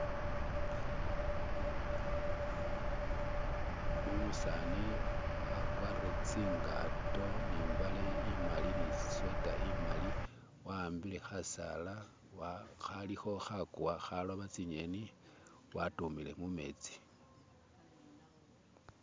umusani akwarire tsingato nimbale imali nisweta imali wahambile hasala haliho hakuwa haloba tsinyeni watumile mumetsi